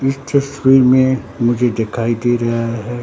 इस तस्वीर में मुझे दिखाई दे रहा है।